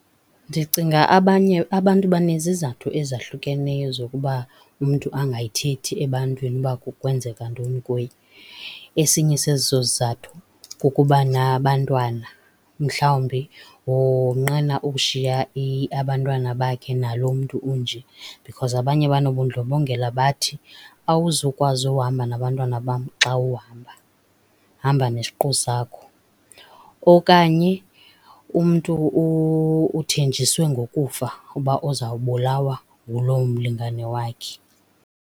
Ndicinga abanye abantu banezizathu ezahlukeneyo zokuba umntu angayithethi ebantwini uba kwenzeka ntoni kuye. Esinye sezo zizathu kukuba nabantwana mhlawumbi wonqena ukushiya abantwana bakhe nalo mntu unje because abanye banobundlobongela bathi awuzukwazi uhamba nabantwana bam xa uhamba, hamba nesiqu sakho. Okanye umntu uthenjisiwe ngokufa uba uzawubulawa nguloo mlingane wakhe.